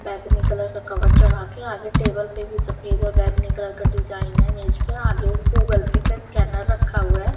बैगनी कलर का कवर चढ़ा के आगे टेबल पे भी सफेद और बैगनी कलर का डिजाइन है मेज पे आगे गूगल पे का स्कैनर रखा हुआ है।